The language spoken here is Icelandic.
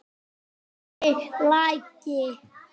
Fjarri lagi.